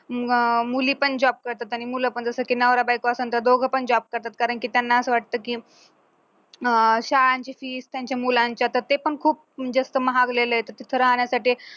अं मुली पण job करतात आणि मुलं पण जसं की नवरा बायको असन तर दोघ पण job करतात कारण की त्यांना असं वाटतं की अं शाळेची fees त्यांच्या मुलांच्या तर ते पण खूप जास्त महागलेले आहेत तिथे राहण्यासाठी